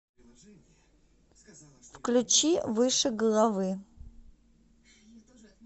включи выше головы